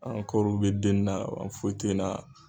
An ka kɔɔri bɛ den na, wa foyitɛna.